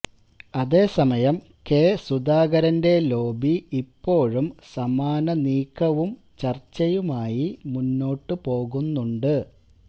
അതേസമയം കെ സുധാകരന്റെ ലോബി ഇപ്പോഴും സമാന നീക്കവും ചർച്ചയുമായി മുന്നോട്ടു പോകുന്നുണ്ട്